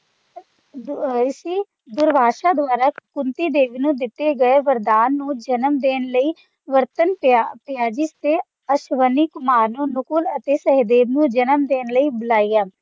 ਰਿਸ਼ੀ ਦੁਰਵਾਸਾ ਦੁਆਰਾ ਕੁੰਤੀ ਦੇਵੀ ਨੂੰ ਦਿੱਤੇ ਗਏ ਵਰਦਾਨ ਨੂੰ ਜਨਮ ਦੇਣ ਲਈ ਵਰਤਣ ਪਿਆ ਪਿਆ ਜਿਸ ਤੇ ਅਸਵੀਨੀ ਕੁਮਾਰ ਨੂੰ ਨਕੁਲ ਅਤੇ ਸਹਿਦੇਵ ਨੂੰ ਜਨਮ ਦੇਣ ਲਈ ਬੁਲਾਇਆ